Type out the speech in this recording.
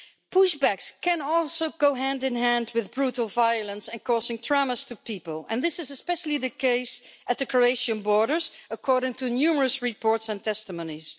Push backs can also go hand in hand with brutal violence and causing traumas to people, and this is especially the case at the Croatian borders, according to numerous reports and testimonies.